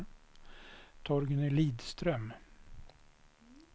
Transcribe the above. Torgny Lidström